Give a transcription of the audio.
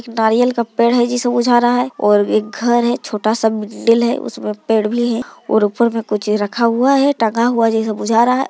नारियल का पेड़ जैसे बुझा रहा है और एक घर है छोटा सा छोटा सा बिल्डिंग है उसमें पेड़ भी है और ऊपर में कुछ रखा हुआ है टंगा हुआ जैसा बुझा रहा है।